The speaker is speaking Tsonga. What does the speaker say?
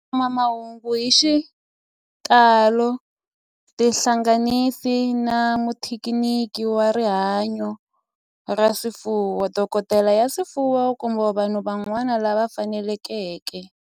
Ku kuma mahungu hi xitalo tihlanganisi na muthekiniki wa rihanyo ra swifuwo, dokodela ya swifuwo, kumbe vanhu van'wana lava fanelekeke